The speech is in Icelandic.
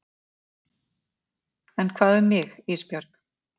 En hvað um mig Ísbjörg?